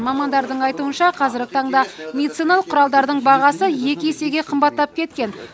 мамандардың айтуынша қазіргі таңда медициналық құралдардың бағасы екі есеге қымбаттап кеткен